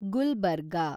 Gulbarga